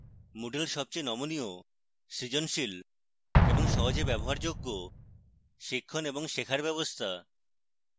moodle সবচেয়ে নমনীয় সৃজনশীল এবং সহজে ব্যবহারযোগ্য শিক্ষণ এবং শেখার ব্যবস্থা